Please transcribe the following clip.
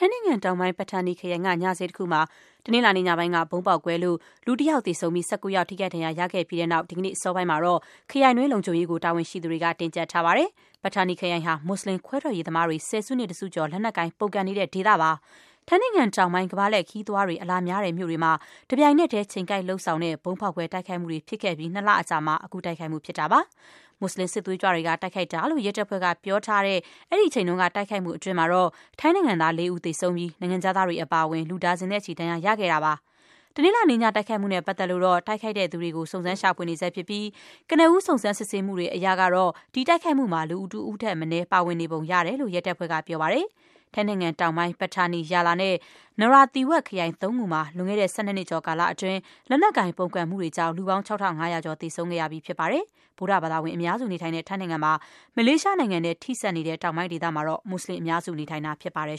င်းနိုင်ငံတောင်ပိုင်း Pattani ခရိုင်က ညဈေးတခုမှာ တနင်္လာနေ့ညပိုင်းက ဗုံးပေါက်ကွဲလို့ လူ တယောက်သေဆုံးပြီး ၁၉ ယောက် ထိခိုက်ဒဏ်ရာ ရခဲ့ပြီးတဲ့နောက် ဒီကနေ့အစောပိုင်းမှာတော့ ခရိုင်တွင်း လုံခြုံရေးကို တာဝန်ရှိသူတွေက တင်းကျပ်ထားပါတယ်။ ပက်ထာနီ ခရိုင်ဟာ မူစလင်ခွဲထွက်ရေးသမားတွေ ဆယ်စုနှစ်တစုကျော် လက်နက်ကိုင် ပုန်ကန်နေတဲ့ ဒေသပါ။ ထိုင်းနိုင်ငံတောင်ပိုင်းက ကမ္ဘာလှည့် ခရီးသွားတွေ အလာများတဲ့မြို့တွေမှာ တပြိုင်နက်တည်း ချိန်ကိုက်လုပ်ဆောင်တဲ့ ဗုံးဖောက်ခွဲတိုက်ခိုက်မှုတွေ ဖြစ်ခဲ့ပြီး နှစ်လ အကြာမှာ အခုတိုက်ခိုက်မှု ဖြစ်တာပါ။ မူစလင်စစ်သွေးကြွတွေက တိုက်ခိုက်တာလို့ ရဲတပ်ဖွဲ့က ပြောထားတဲ့ အဲဒီအချိန်က တိုက်ခိုက်မှုတွေအတွင်း ထိုင်း နိုင်ငံသား လေးဦး သေဆုံးပြီး နိုင်ငံခြားသားတွေ အပါအဝင် လူဒါဇင်နဲ့ချီ ဒဏ်ရာရခဲ့ပါတယ်။ တနင်္လာနေ့ညတိုက်ခိုက်မှုနဲ့ပတ်သက်လို့တော့ တိုက်ခိုက်သူတွေကို စုံစမ်း ရှာဖွေနေဆဲ ဖြစ်ပြီး ကနဦး စုံစမ်းစစ်ဆေးမှုတွေအရကတော့ ဒီတိုက်ခိုက်မှုမှာ လူ တဦးထက်မနည်း ပါဝင် ပတ်သက်နေပုံရတဲ့အကြောင်း ရဲတပ်ဖွဲ့က ပြောပါတယ်။ ထိုင်းနိုင်ငံတောင်ပိုင်း Pattani ၊ Yala နဲ့ Narathiwat ခရိုင်သုံးခုမှာ လွန်ခဲ့တဲ့ ၁၂ နှစ်ကျော်ကာလအတွင်း လက်နက်ကိုင်ပုန်ကန်မှုတွေကြောင့် လူပေါင်း ၆၅၀၀ ကျော် သေဆုံးခဲ့ရပြီး ဖြစ်ပါတယ်။ ဗုဒ္ဓဘာသာဝင် အများစု နေထိုင်တဲ့ ထိုင်းနိုင်ငံမှာ မလေးရှားနိုင်ငံနဲ့ ထိစပ်နေတဲ့ တောင်ပိုင်းဒေသမှာတော့ မူစလင်အများစု နေထိုင်တာဖြစ်ပါတယ်